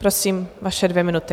Prosím, vaše dvě minuty.